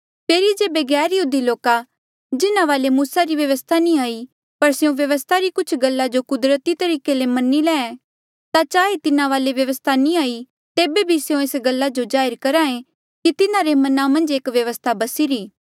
फेरी जेबे गैरयहूदी लोका जिन्हा वाले मूसा री व्यवस्था नी हाई पर स्यों व्यवस्था री कुछ गल्ला जो कुदरती तरीके ले मनी ले ता चाहे तिन्हा वाले व्यवस्था नी हाई तेबे भी स्यों एस गल्ला जो जाहिर करहे कि तिन्हारे मना मन्झ एक व्यवस्था बसीरी